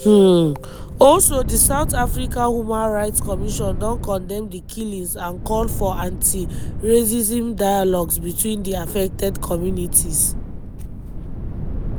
um also di south african human rights commission don condemn di killings and call for anti-racism dialogues between di affected communities.